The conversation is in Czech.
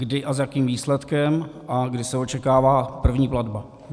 Kdy a s jakým výsledkem a kdy se očekává první platba?